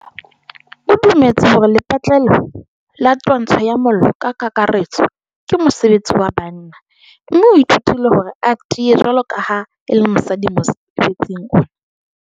O dumetse hore lepatlelo la twantsho ya mollo ka kakaretso ke mosebetsi wa banna mme o ithutile hore a tiye jwalo ka ha e le mosadi mosebetsing ona.